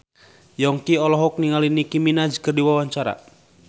Yongki olohok ningali Nicky Minaj keur diwawancara